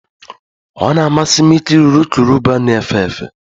Ọ na-amasị m ikiri urukurubụba na-efe efe